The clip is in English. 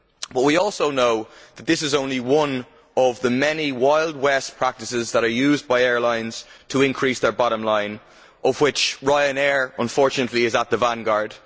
But we also know that this is only one of the many Wild West practices that are used by airlines to increase their bottom line with Ryanair, unfortunately, in the vanguard.